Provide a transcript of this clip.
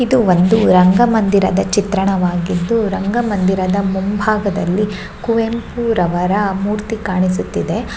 ಇದು ಒಂದು ರಂಗಮಂದಿರದ ಚಿತ್ರಣವಾಗಿದ್ದು ರಂಗಮಂದಿರದ ಮುಂಬಾಗದಲ್ಲಿ ಕುವೆಂಪುರವರ ಮೂರ್ತಿ ಕಾಣಿಸುತ್ತಿದೆ.